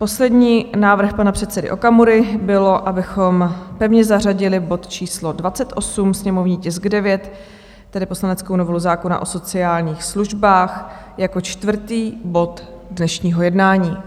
Poslední návrh pana předsedy Okamury byl, abychom pevně zařadili bod číslo 28, sněmovní tisk 9, tedy poslaneckou novelu zákona o sociálních službách, jako čtvrtý bod dnešního jednání.